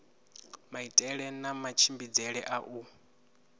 maitele na matshimbidzele a u